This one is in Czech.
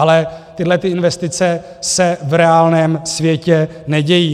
Ale tyhlety investice se v reálném světě nedějí.